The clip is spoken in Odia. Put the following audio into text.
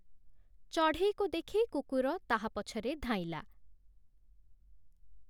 ଚଢ଼େଇକୁ ଦେଖି କୁକୁର ତାହା ପଛରେ ଧାଇଁଲା ।